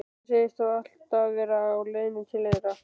Hann segist þó alltaf vera á leiðinni til þeirra.